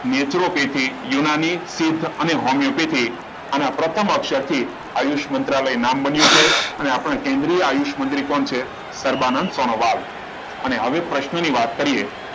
નેત્રપેથીક યોનાની અને હોમિયોપેથિક અને પ્રથમ શક્તિ આયુષ મંત્રાલય નામ બન્યું છે અને આ પણ કેન્દ્રીય આયુષ મંત્રાલય પણ છે કેન્દ્રીય આયુષ્ય મંત્રી કોણ છે સર્બાનંદ સોનવાડ અને હવે પ્રશ્નની વાત કરીએ